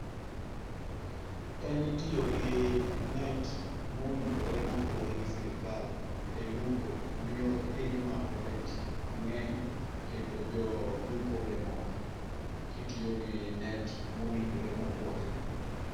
En tiyogi net mowinjore mopuodhi gi sirikal elupo miyo imako rech mang'eny kendo joolupo be omor kitiyo gi net mowinjore mopuodhi.